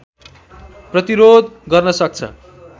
प्रतिरोध गर्न सक्छ